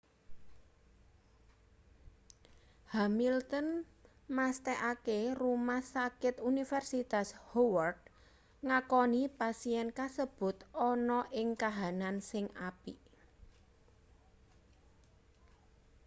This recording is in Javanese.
hamilton mesthekake rumah sakit universitas howard ngakoni pasien kasebut ana ing kahanan sing apik